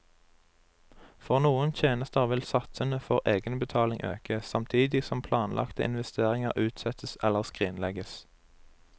For noen tjenester vil satsene for egenbetaling øke, samtidig som planlagte investeringer utsettes eller skrinlegges.